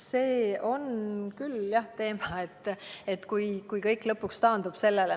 See on jah teema, et kui kõik lõpuks taandub sellele.